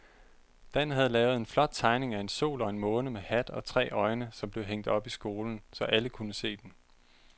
Dan havde lavet en flot tegning af en sol og en måne med hat og tre øjne, som blev hængt op i skolen, så alle kunne se den.